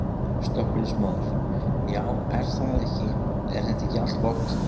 Slökkviliðsmaður: Já er það ekki, er þetta ekki allt gott?